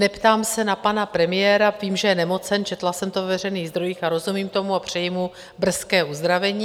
Neptám se na pana premiéra, vím, že je nemocen, četla jsem to ve veřejných zdrojích, rozumím tomu a přeji mu brzké uzdravení.